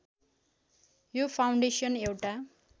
यो फाउन्डेसन एउटा